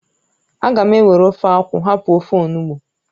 Aga m ewere ofe akwụ hapụ ofe onugbụ